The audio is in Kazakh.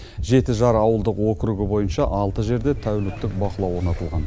жетіжар ауылдық округі бойынша алты жерде тәуліктік бақылау орнатылған